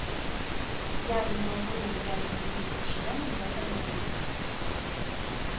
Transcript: я не могу доверять моим подчинённым в этом деле